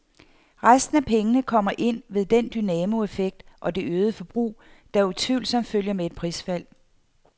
Resten af pengene kommer ind ved den dynamoeffekt og det øgede forbrug, der utvivlsomt følger med et prisfald.